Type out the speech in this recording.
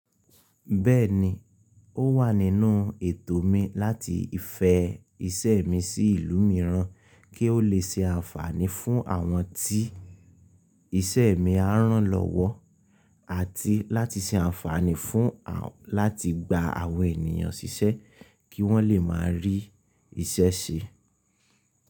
Bẹ́ẹ̀ni, ó wà nínú ètò mi láti fẹ̀ iṣẹ́ mi sí ìlú mìíràn kí ó lè ṣe àǹfààní fún àwọn tí iṣẹ́ mi á ràn lọ́wọ́, àti láti ṣe àǹfààní fún àwọn láti gba àwọn ènìyàn ṣiṣẹ́ kí wọ́n lè máa rí iṣẹ́ ṣe sí i.